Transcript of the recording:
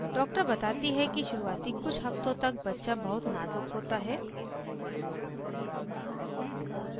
doctor बताती है कि शुरूआती कुछ हफ़्तों तक बच्चा बहुत नाज़ुक होता है